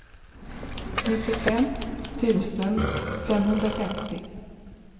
nittiofem tusen femhundrafemtio